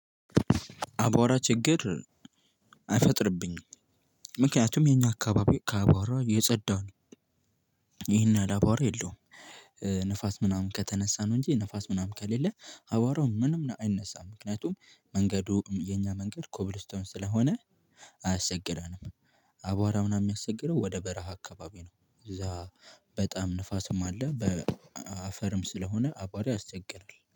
አቧራ ችግር አይፈጥርብኝም። ምክንያቱም የኛ አካባቢ ከአቧራ የጸዳ ነው። ይሄን ያህል አቧራ የለውም። ንፋስ ምናምን ከተነሳነ ነው እንጂ ንፋስ ምናምን ከሌለ አቧራው ምንም አይነሳም። ምክንያቱም መንገዱም የኛ መንገድ ኮብልስቶን ስለሆነ አያስቸግርም። አቧራ ምናምን የሚያስቸግረው ወደ በረሃ አካባቢ ነው። እዛ በጣም ንፋስም አለ፣ በአፈርም ስለሆነ አቧራ ያስቸግራል።